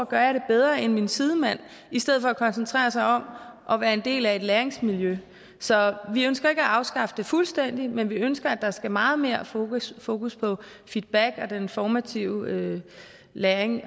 gør det bedre end deres sidemand i stedet for at koncentrere sig om at være en del af et læringsmiljø så vi ønsker ikke at afskaffe karakterer fuldstændig men vi ønsker at der skal meget mere fokus fokus på feedback og den formative læring